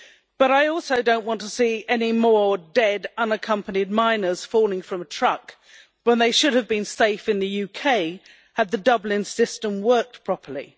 But I also do not want to see any more dead unaccompanied minors falling from a truck when they should have been safe in the UK, had the Dublin system worked properly.